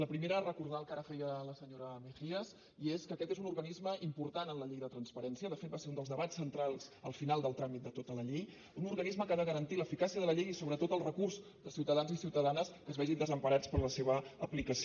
la primera recordar el que ara feia la senyora mejías i és que aquest és un organisme important en la llei de transparència de fet va ser un dels debats centrals al final del tràmit de tota la llei un organisme que ha de garantir l’eficàcia de la llei i sobretot el recurs de ciutadans i ciutadanes que es vegin desemparats per la seva aplicació